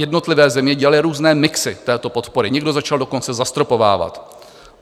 Jednotlivé země dělaly různé mixy této podpory, někdo začal dokonce zastropovávat.